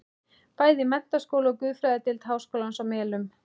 Bæði í menntaskóla og guðfræðideild háskólans á Melunum.